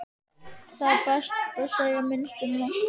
Það er best að segja sem minnst um það.